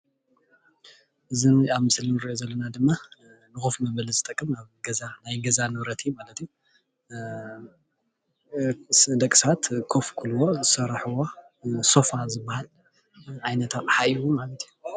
እዚ ኣብ ምስሊ እንሪኦ ዘለና ድማ ንኮፍ መበሊ ዝጠቅም ኣብ ገዛ ናይ ገዛ ንብረት እዩ ማለት እዩ፡፡ ንደቂ ሰባት ኮፍ ክብልዎ ዝሰርሕዎ ሶፋ ዝባሃል ዓይነት ኣቅሓ እዩ ማለት እዩ፡፡